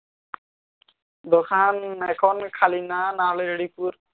দোকান এখন খালিনা না না হলে রেডি